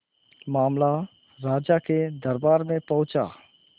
मामला राजा के दरबार में पहुंचा